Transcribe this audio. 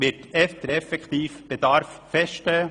Der effektive Bedarf wird erst im Jahr 2030 feststehen.